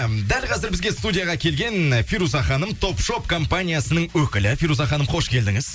м дәл қазір бізге студияға келген фируза ханым топ шоп компаниясының өкілі фируза ханым қош келдіңіз